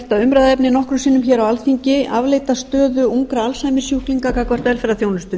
umræðuefni nokkrum sinnum á alþingi afleidda stöðu ungra alzheimersjúklinga gagnvart